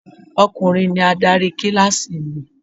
Ọkùnrin ni adarí kíláàsì mi.